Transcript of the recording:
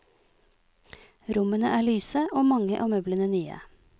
Rommene er lyse og mange av møblene nye.